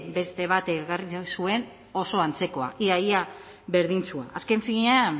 beste bat ekarri zuen oso antzekoa ia ia berdintsua azken finean